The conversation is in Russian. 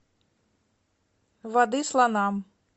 воды слонам